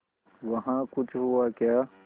वहाँ कुछ हुआ क्या